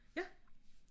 Ja